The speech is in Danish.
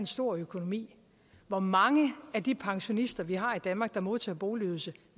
stor økonomi hvor mange af de pensionister vi har i danmark og som modtager boligydelse